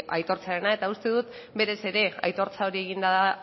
aitortzearena eta uste dut berez ere aitortza hori eginda